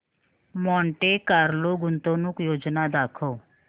Monte Carlo गुंतवणूक योजना दाखव